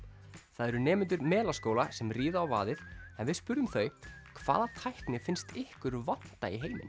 það eru nemendur Melaskóla sem ríða á vaðið en við spurðum þau hvaða tækni finnst ykkur vanta í heiminn